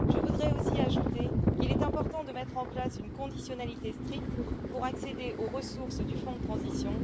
Je voudrais aussi ajouter qu'il est important de mettre en place une conditionnalité stricte pour accéder aux ressources du fonds de transition.